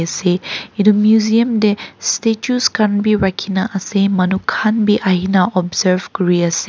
se itu museum dey statues khan bi rakhina ase manu khan bi ahina observe kuriase.